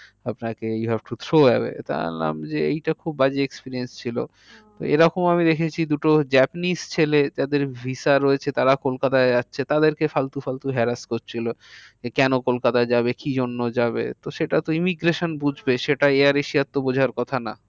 যে কেন কলকাতায় যাবে? কি জন্য যাবে? তো সেটা তো emigration বুঝবে সেটা air asia র তো বোঝার কথা না।